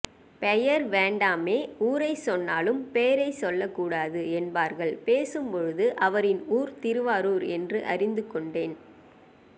பெயர் வேண்டாமே ஊரைச் சொன்னாலும் பெயரைச் சொல்லக்கூடாது என்பார்கள் பேசும்பொழுது அவரின் ஊர் திருவாரூர் என்று அறிந்து கொண்டேன்